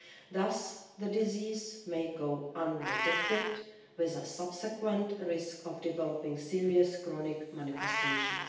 Thus, the disease may go undetected, with the subsequent risk of developing serious chronic manifestations.